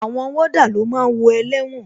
Àwọn wọ́dà ló máa ń wo ẹlẹ́wọ̀n